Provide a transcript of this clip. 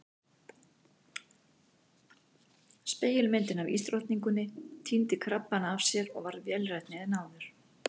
Spegilmyndin af ísdrottninguni týndi krabbana af sér og varð vélrænni en fyrr.